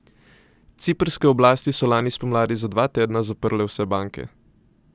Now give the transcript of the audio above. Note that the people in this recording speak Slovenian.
Ciprske oblasti so lani spomladi za dva tedna zaprle vse banke.